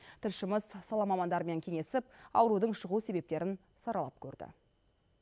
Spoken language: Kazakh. тілшіміз сала мамандарымен кеңесіп аурудың шығу себептерін саралап көрді